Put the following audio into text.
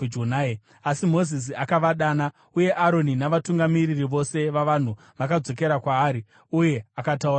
Asi Mozisi akavadana; uye Aroni navatungamiri vose vavanhu vakadzokera kwaari, uye akataura navo.